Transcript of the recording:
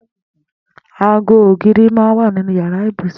Àgó ógìrí mà n wà ninú iyàrá ibúsún